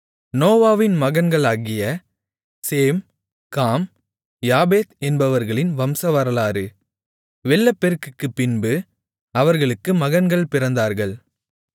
நோவாவின் மகன்களாகிய சேம் காம் யாப்பேத் என்பவர்களின் வம்சவரலாறு வெள்ளப்பெருக்குக்குப் பின்பு அவர்களுக்கு மகன்கள் பிறந்தார்கள்